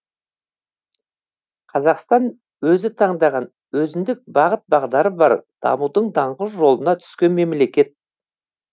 қазақстан өзі таңдаған өзіндік бағыт бағдары бар дамудың даңғыл жолына түскен мемлекет